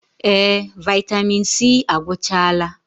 Ee! Vaịtamịn C agwụchaala.